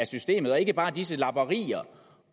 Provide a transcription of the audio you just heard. systemet og ikke bare disse lapperier